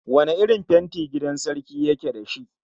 Wane irin fenti gidan sarki yake da shi?